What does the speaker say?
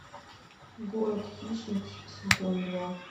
город хищниц сезон два